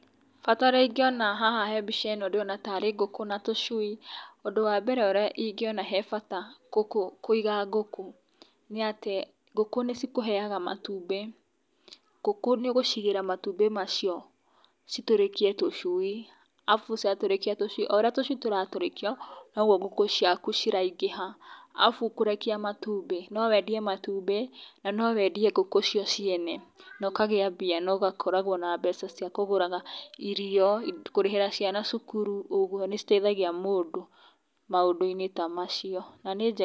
Bata ũrĩa ingĩona haha he mbica ĩno ndĩrona tarĩ ngũkũ na tũcui, ũndũ wambere ũrĩa ingĩona he bata ngũkũ kũiga ngũkũ nĩ atĩ ngũkũ nĩ cikũheaga matumbĩ, ngũkũ nĩ ũgũcigĩra matumbĩ macio citũrĩkĩe tũcui arabu ciatũrakia tũcui oũrĩa tũcui tũtarũrĩkio noguo ngũkũ ciaku ciraingĩha arabu kũrekia matumbi no wendie matumbi na no wendie ngũkũ cio ciene na ũkagia mbia na ũgakoragwo na mbeca cia kũgũraga irio kũrĩhĩra ciana cukuru ũguo, nĩciteithagia mũndũ maũndũ-inĩ ta macio na nĩ njega.